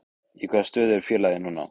Í hvaða stöðu er félagið núna?